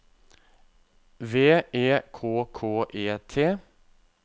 V E K K E T